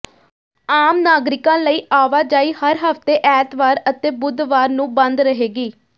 ਆਮ ਨਾਗਰਿਕਾਂ ਲਈ ਆਵਾਜਾਈ ਹਰ ਹਫ਼ਤੇ ਐਤਵਾਰ ਅਤੇ ਬੁੱਧਵਾਰ ਨੂੰ ਬੰਦ ਰਹੇਗੀ